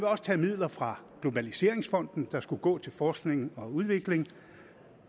også tage midler fra globaliseringsfonden der skulle gå til forskning og udvikling